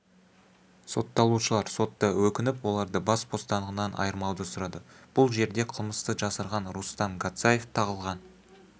сотталушылар сотта өкініп оларды бас бостандығынан айырмауды сұрады бұл жерде қылмысты жасырған рустам гацаев тағылған